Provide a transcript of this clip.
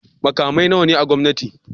Makamai nawa ne na gwamnati?